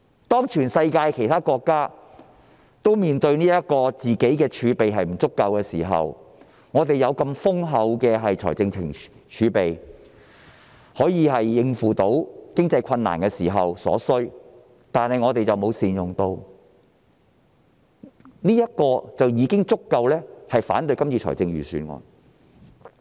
當全世界其他國家面對儲備不足的時候，我們有如此豐厚的儲備來應付經濟困難，但卻沒有善用，這已足夠令我們反對今次的預算案。